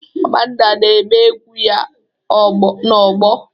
Amanda na-eme egwu ya na ogbo